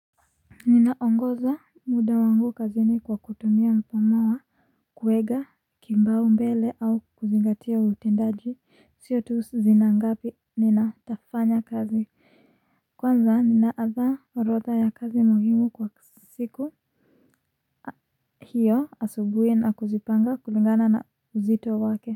Ninaongoza muda wangu kazini kwa kutumia mfano wa kuiga, kipaumbele au kuzingatia utendaji sio tu zina ngapi nina tafanya kazi, kwanza ninaandaa orotha ya kazi muhimu kwa siku hiyo asubuhi na kuzipanga kulingana na uzito wake.